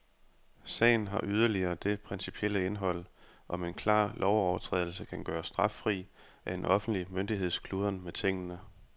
Sagen har yderligere det principielle indhold, om en klar lovovertrædelse kan gøres straffri af en offentlig myndigheds kludren med tingene.